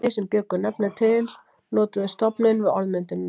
Þeir sem bjuggu nöfnin til notuðu stofninn við orðmyndunina.